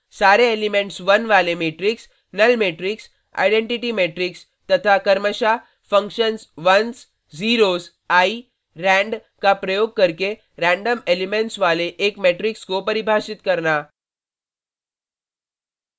सारे एलिमेंट्स 1 वाले matrix null matrix identity matrix तथा क्रमशः functions ones ones zeros zeros eye eye rand randका प्रयोग करके रैंडम एलिमेंट्स वाले एक मेट्रिक्स को परिभाषित करना